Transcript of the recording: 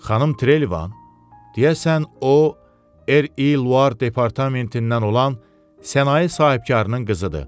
Xanım Trelevan, deyəsən o, R.İ. Luar departamentindən olan sənaye sahibkarının qızıdır.